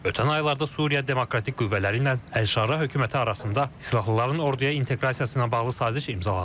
Ötən aylarda Suriya Demokratik qüvvələri ilə Əl-şarə hökuməti arasında silahlıların orduya inteqrasiyasına bağlı saziş imzalanıb.